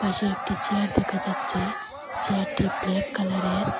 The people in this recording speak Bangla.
পাশে একটি চেয়ার দেখা যাচ্ছে চেয়ারটি ব্ল্যাক কালারের।